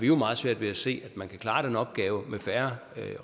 jo meget svært ved at se at man kan klare den opgave med færre